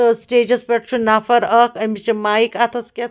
stages پٮ۪ٹھ چُھ نفراکھ أمِس چھ مایک .اَتھس کٮ۪تھ